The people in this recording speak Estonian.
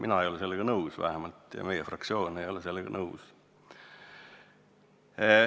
Mina ei ole sellega nõus ja meie fraktsioon ei ole sellega nõus.